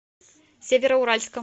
североуральском